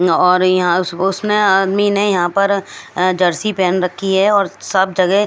और यहां उस उसने आदमी ने यहां पर जर्सी पहन रखी है और सब जगह--